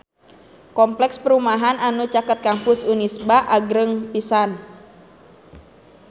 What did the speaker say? Kompleks perumahan anu caket Kampus Unisba agreng pisan